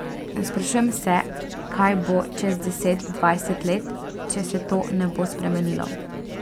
Sprašujem se, kaj bo čez deset dvajset let, če se to ne bo spremenilo.